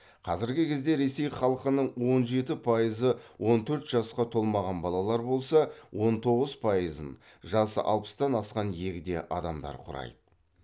қазіргі кезде ресей халқының он жеті пайызы он төрт жасқа толмаған балалар болса он тоғыз пайызын жасы алпыстан асқан егде адамдар құрайды